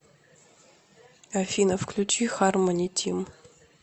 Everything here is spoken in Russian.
афина включи хармони тим